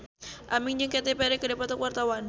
Aming jeung Katy Perry keur dipoto ku wartawan